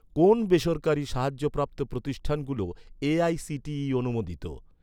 কোন বেসরকারি সাহায্যপ্রাপ্ত প্রতিষ্ঠানগুলো এ.আই.সি.টি.ই অনুমোদিত?